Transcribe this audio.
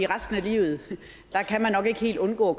resten af livet kan man nok ikke helt undgå